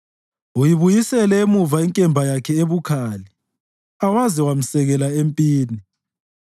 Uyibuyisele emuva inkemba yakhe ebukhali awaze wamsekela empini.